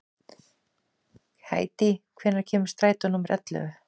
Hedí, hvenær kemur strætó númer ellefu?